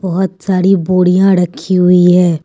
बहुत सारी बोड़ियां रखी हुई है।